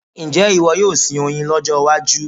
Ǹjẹ́ ìwọ yóò sin oyin lọ́jọ́ iwájú?